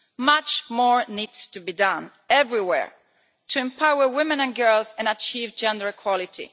Much more needs to be done everywhere to empower women and girls and achieve gender equality.